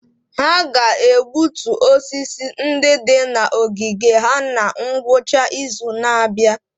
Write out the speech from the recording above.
Ha ga-egbutu osisi ndị dị na ogige ha na ngwụcha izu na-abịa.